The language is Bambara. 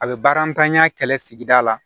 A bɛ baara ntanya kɛlɛ sigida la